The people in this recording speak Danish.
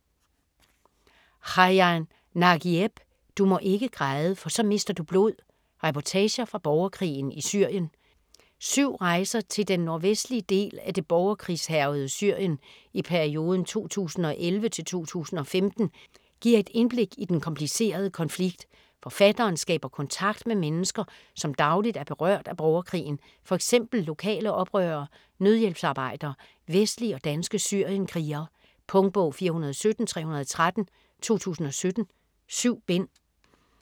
Khaja, Nagieb: Du må ikke græde - for så mister du blod: reportager fra borgerkrigen i Syrien Syv rejser til den nordvestlige del af det borgerkrigshærgede Syrien i perioden 2011-2015 giver et indblik i den komplicerede konflikt. Forfatteren skaber kontakt med mennesker, som dagligt er berørt af borgerkrigen: f.eks. lokale oprørere, nødhjælpsarbejdere, vestlige og danske syrienkrigere. Punktbog 417313 2017. 7 bind.